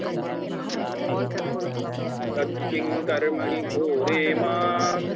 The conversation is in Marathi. तत्किं कर्मणि घोरे मां